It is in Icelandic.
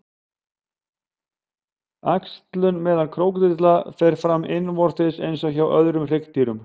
Æxlun meðal krókódíla fer fram innvortis eins og hjá öðrum hryggdýrum.